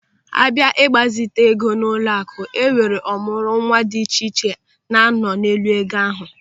Abịa n'ịgbazite ego n'ụlọaku, enwere ọmụrụnwa dị iche iche na-anọ n'elu ego ahụ.